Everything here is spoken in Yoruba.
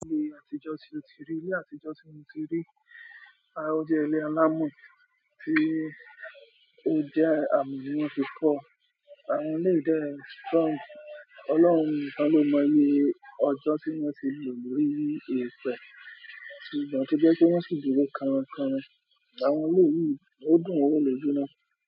Ní ayé àtijọ́ tí mo ti rí, ayé àtijọ́ tí mo ti rí, a ó jẹ́ ilé alámọ̀ tí ó jẹ́ amọ ní wọ́n fi kọ. Àwọn ilé yìí ìdẹ́ strong, Ọlọ́run nìkan lo mọ iyé ọjọ́ tí wọn ti lo lórí èpè, ìgbà tó jẹ́ wipé wọ́n sì dúró karan karan, àwọn ilé yìí, wọn dùn wo loju náà.